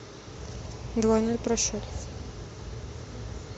двойной просчет